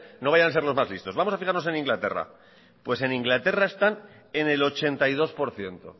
no vayan a ser los más listos vamos a fijarnos en inglaterra pues en inglaterra están en el ochenta y dos por ciento